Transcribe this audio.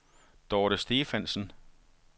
Dorthe Stephansen